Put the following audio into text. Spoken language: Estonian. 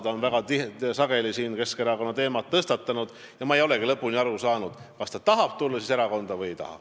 Ta on väga sageli siin Keskerakonna teema tõstatanud, aga ma ei ole lõpuni aru saanud, kas ta tahab tulla erakonda või ei taha.